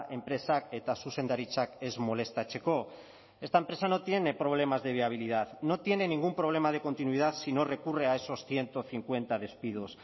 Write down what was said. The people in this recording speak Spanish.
enpresak eta zuzendaritzak ez molestatzeko esta empresa no tiene problemas de viabilidad no tiene ningún problema de continuidad si no recurre a esos ciento cincuenta despidos